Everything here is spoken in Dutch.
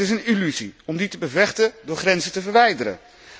Het is een illusie om die te bevechten door grenzen te verwijderen.